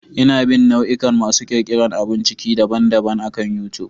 Ina bin nau'ikan masu ƙirƙirar abun ciki daban-daban akan YouTube.